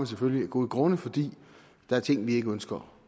selvfølgelig af gode grunde fordi der er ting vi ikke ønsker